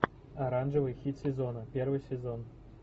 оранжевый хит сезона первый сезон